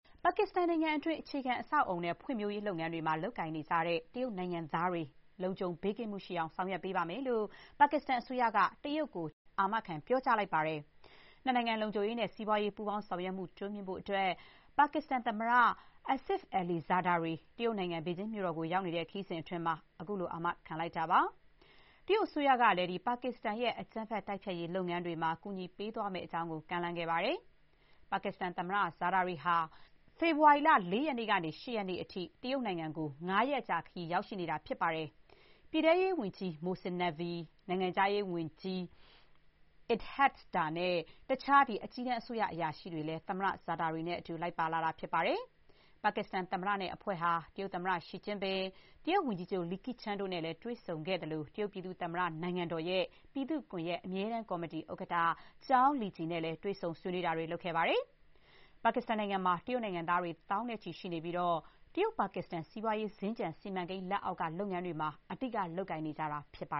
ပါကစ္စတန်နိုင်ငံအတွင်း အခြေခံ အဆောက်အအုံ နဲ့ ဖွံ့ဖြိုးရေး လုပ်ငန်းတွေမှာ လုပ်ကိုင်နေကြတဲ့ တရုတ်နိုင်ငံသားတွေ လုံခြုံမှု ရှိအောင် ဆောင်ရွက်ပေးပါမယ်လို့ ပါကစ္စတန်အစိုးရက တရုတ်ကို အာမခံ ပြောကြားလိုက်ပါတယ်။ နှစ်နိုင်ငံ လုံခြုံရေးနဲ့ စီးပွားရေး ပူးပေါင်း ဆောင်ရွက်မှု တိုးမြှင့်ဖို့အတွက် ပါကစ္စတန် သမ္မတ Asif Ali Zardari တရုတ်နိုင်ငံ ဘေဂျင်းမြို့တော်ကို ရောက်နေတဲ့ ခရီးစဥ်အတွင်း ခုလို အာမခံခဲ့တာပါ။ တရုတ်အစိုးရကလည်း ပါကစ္စတန်ရဲ့ အကြမ်းဖက် တိုက်ဖျက်ရေး လုပ်ငန်းတွေမှာ ကူညီပေးသွားမယ့်အကြောင်း ကမ်းလှမ်းခဲ့ပါတယ်။ ပါကစ္စတန် သမ္မတ ဇာဒါရီ ဟာ ဖေဖေါ်ဝါရီလ ၄ ရက်နေ့ကနေ ၈ ရက်နေ့အထိ တရုတ်နိုင်ငံကို ၅ ရက်ကြာခရီး ရောက်နေတာပါ။ ပြည်ထဲရေးဝန်ကြီး မိုဆင် နက်ဗီ Mohsin Naqvi ၊ နိုင်ငံခြားရေးဝန်ကြီး အစ်ဟက် ဒါ နဲ့ တခြား အကြီးတန်း အစိုးရ အရာရှိတွေလည်း သမ္မတ ဇာဒါရီနဲ့တူ လိုက်ပါလာတာပါ။ ပါကစ္စတန် သမ္မတနဲ့ အဖွဲ့ဟာ တရုတ်သမ္မတ Xi Jinping ၊ တရုတ်ဝန်ကြီးချုပ် Li Qiang တို့နဲ့ တွေ့ဆုံခဲ့သလို၊ တရုတ်ပြည်သူ့သမ္မတ နိုင်ငံတော်ရဲ့ ပြည်သူ့ကွန်ဂရက် အမြဲတမ်း ကော်မတီ ဥက္ကဋ္ဌ ကျောင်း လီဂျီ Zhao Leji နဲ့လည်း တွေ့ဆုံ ဆွေးနွေးခဲ့တာပါ။ ပါကစ္စတန်နိုင်ငံမှာ တရုတ်နိုင်ငံသားတွေ သောင်းနဲ့ချီ ရှိနေပြီး တရုတ်−ပါကစ္စတန် စီးပွားရေး စင်္ကြန် စီမံကိန်း လက်အောက်က လုပ်ငန်းတွေမှာ အဓိက အလုပ် လုပ်နေကြတာ ဖြစ်ပါ